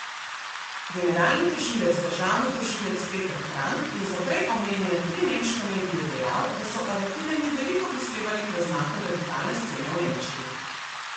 Generalni tožilec državni tožilec Peter Frank je za prej omenjene tri nemške medije dejal, da so aretirani veliko prispevali k razmahu radikalne scene v Nemčiji.